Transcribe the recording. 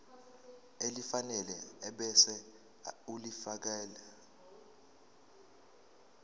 elifanele ebese ulifiakela